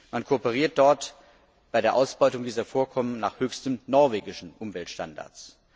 Man kooperiert dort bei der Ausbeutung dieser Vorkommen nach höchsten norwegischen Umweltstandards.